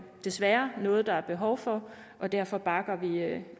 desværre er noget der er behov for og derfor bakker vi vi